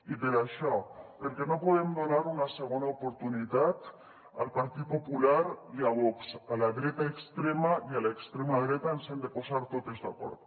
i per això perquè no podem donar una segona oportunitat al partit popular i a vox a la dreta extrema i a l’extrema dreta ens hem de posar totes d’acord